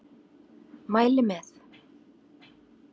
Mæli með.